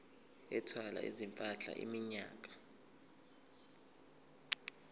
ethwala izimpahla iminyaka